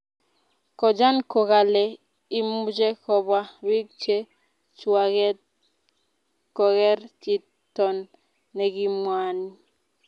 Kojan kokalee imuche kopwa pik che chwaget koker chiton nekimwani